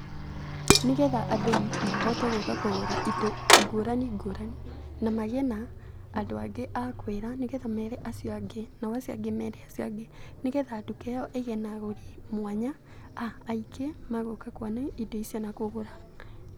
Nĩ getha andũ mahote gũũka kũgũra indo ngũrani ngũrani na magĩe na andũ angĩ a kwĩra nĩ getha meere acio angĩ, nao acio angĩ meere acio angĩ, nĩ getha nduka ĩyo ĩgĩe na agũri mwanya aingĩ megũka kuona indo icio na kũgũra.